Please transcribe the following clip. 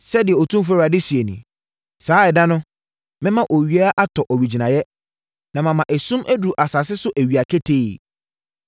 Sɛdeɛ Otumfoɔ Awurade seɛ nie, “Saa ɛda no, mɛma owia atɔ owigyinaeɛ, na mama esum aduru asase so awia ketee.